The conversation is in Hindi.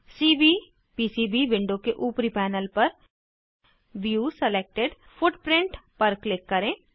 सीवीपीसीबी विंडो के ऊपरी पैनल पर व्यू सिलेक्टेड फुटप्रिंट पर क्लिक करें